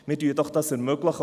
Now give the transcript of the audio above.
Ermöglichen wir dies doch!